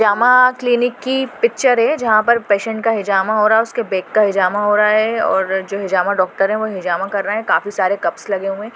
हिजामा clinic की picture है जहा पर पैशन्ट का हिजामा हो रहा है उसके बेक का हिजमा हो रहा है और जो हिजामा डॉक्टर हे वो हिजामा कर रहे है काफी सारे कप्स लगे हुए है।